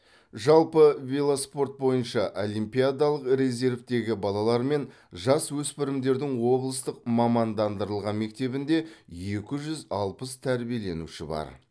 жалпы велоспорт бойынша олимпиадалық резервтегі балалар мен жасөспірімдердің облыстық мамандандырылған мектебінде екі жүз алпыс тәрбиеленуші бар